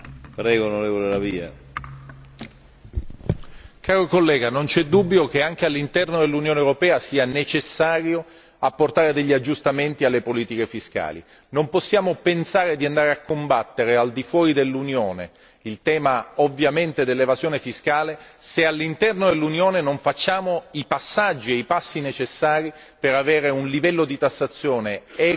Signor Presidente, onorevole collega, non c'è dubbio che anche all'interno dell'Unione europea sia necessario apportare degli aggiustamenti alle politiche fiscali. Non possiamo pensare di andare a combattere al di fuori dell'Unione il tema dell'evasione fiscale, se all'interno dell'Unione non facciamo i passaggi e i passi necessari per avere un livello di tassazione equo ed equilibrato.